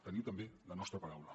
teniu també la nostra paraula